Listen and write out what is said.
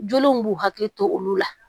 Joliw b'u hakili to olu la